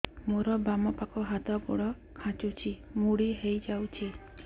ମୋର ବାମ ପାଖ ହାତ ଗୋଡ ଖାଁଚୁଛି ମୁଡି ହେଇ ଯାଉଛି